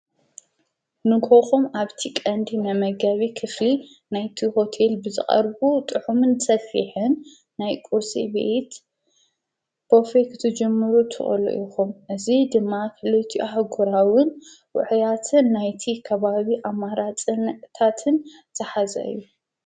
ንሆኾም ኣብቲ ቐንዲ ነመጋቢ ክፍ ናይቲ ሁቴል ብዝቐርቡ ጥሑምን ተፊሐን ናይ ቊርሴ ቤየት ቦፌ ኽትጅምሩ ተሎ ኢኹም እዙ ድማ ኽልቲኣሕጐራውን ውሑያትን ናይቲ ከባዊ ኣማራፅ ንቕታትን ተሓዛዩ።